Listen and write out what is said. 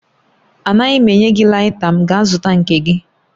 Anaghị m enye gị laita m, gaa zụta nke gị